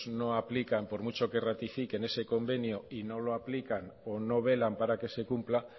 no aplican por mucho que ratifiquen ese convenio no lo aplican o no velan para que se cumpla